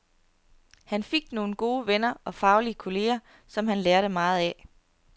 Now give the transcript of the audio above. Han fik nogle gode venner og faglige kolleger, som han lærte meget af.